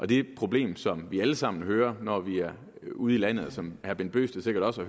det er et problem som vi alle sammen hører når vi er ude i landet og som herre bent bøgsted sikkert også